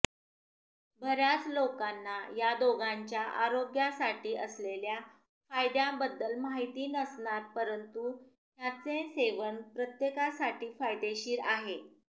बऱ्याच लोकांना या दोघांच्या आरोग्यासाठी असलेल्या फायद्यांबद्दल माहिती नसणार परंतु ह्याचे सेवन प्रत्येकासाठी फायदेशीर आहे